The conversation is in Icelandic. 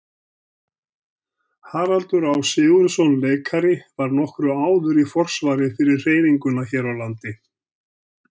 Haraldur Á. Sigurðsson leikari var nokkru áður í forsvari fyrir hreyfinguna hér á landi.